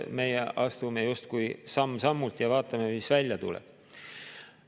Meie astume justkui samm-sammult ja vaatame, mis välja tuleb.